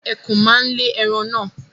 Ẹkùn ma lè ẹran naa